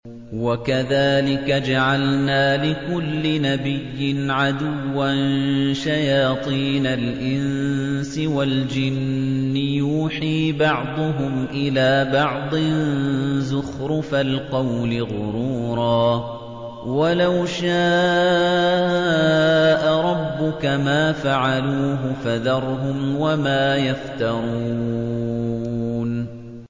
وَكَذَٰلِكَ جَعَلْنَا لِكُلِّ نَبِيٍّ عَدُوًّا شَيَاطِينَ الْإِنسِ وَالْجِنِّ يُوحِي بَعْضُهُمْ إِلَىٰ بَعْضٍ زُخْرُفَ الْقَوْلِ غُرُورًا ۚ وَلَوْ شَاءَ رَبُّكَ مَا فَعَلُوهُ ۖ فَذَرْهُمْ وَمَا يَفْتَرُونَ